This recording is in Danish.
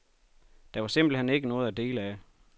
Der var simpelt hen ikke noget at dele af.